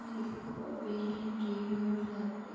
में लिखा हुआ है we can care your fabric.